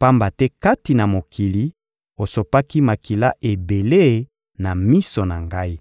pamba te kati na mokili, osopaki makila ebele na miso na Ngai.